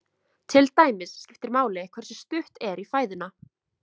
Til dæmis skiptir máli hversu stutt er í fæðuna.